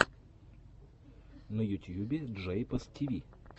на ютьюбе джейпос тиви